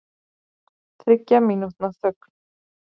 Þriggja mínútna þögn